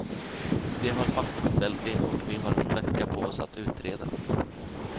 De har fastställt det och vi har en vecka på oss att utreda.